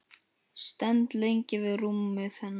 Stend lengi við rúmið hennar.